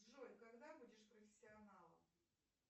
джой когда будешь профессионалом